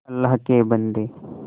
अल्लाह के बन्दे